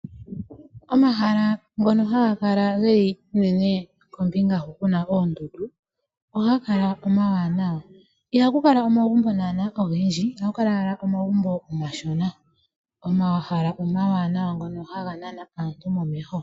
Omahala ngono haga kala geli unene kombinga hu kuna oondundu Ohaga kala omawanawa ihakukala omagumbo ogendji, ohakukala owala omagumbo omashona .omahala omawanawa ngono haga nana aantu momeho.